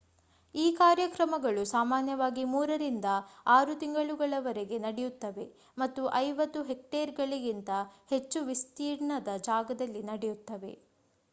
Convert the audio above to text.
ಈ ಕಾರ್ಯಕ್ರಮಗಳು ಸಾಮಾನ್ಯವಾಗಿ ಮೂರರಿಂದ ಆರು ತಿಂಗಳುಗಳವರೆಗೆ ನಡೆಯುತ್ತವೆ ಮತ್ತು 50 ಹೆಕ್ಟೇರ್‌ಗಳಿಗಿಂತ ಹೆಚ್ಚು ವಿಸ್ತೀರ್ಣದ ಜಾಗದಲ್ಲಿ ನಡೆಯುತ್ತವೆ